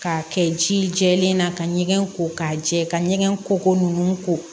K'a kɛ ji jɛlen na ka ɲɛgɛn ko k'a jɛ ka ɲɛgɛn kɔkɔ ninnu ko